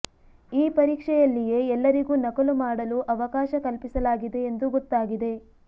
ಈ ಪರೀಕ್ಷೆಯಲ್ಲಿಯೇ ಎಲ್ಲರಿಗೂ ನಕಲು ಮಾಡಲು ಅವಕಾಶ ಕಲ್ಪಿಸಲಾಗಿದೆ ಎಂದು ಗೊತ್ತಾಗಿದೆ